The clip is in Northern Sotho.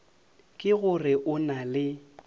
ke gore o na le